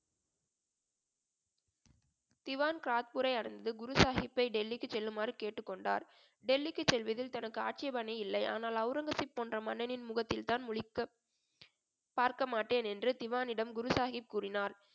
திவான் கிராத்பூரை அடைந்து குரு சாஹிப்பை டெல்லிக்கு செல்லுமாறு கேட்டுக்கொண்டார் டெல்லிக்கு செல்வதில் தனக்கு ஆட்சேபனை இல்லை ஆனால் அவுரங்கசீப் போன்ற மன்னனின் முகத்தில் தான் முழிக்க பார்க்கமாட்டேன் என்று திவானிடம் குரு சாஹிப் கூறினார்